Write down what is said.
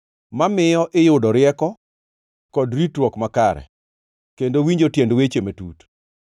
mamiyo iyudo rieko kod ritruok makare, kendo winjo tiend weche matut;